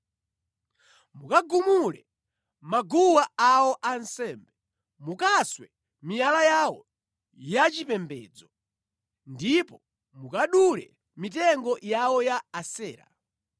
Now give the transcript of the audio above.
Mukagumule maguwa awo ansembe, mukaswe miyala yawo yachipembedzo, ndipo mukadule mitengo yawo ya Asera.